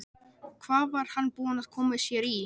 Hvað var hann búinn að koma sér í?